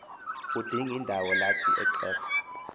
udingindawo lathi ixhego